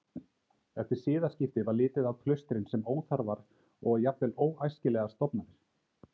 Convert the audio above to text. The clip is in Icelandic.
Eftir siðaskipti var litið á klaustrin sem óþarfar og jafnvel óæskilegar stofnanir.